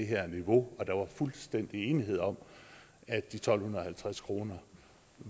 her niveau og der var fuldstændig enighed om at de tolv halvtreds kroner